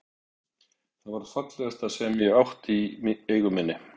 Það var það fallegasta sem ég átti í eigu minni.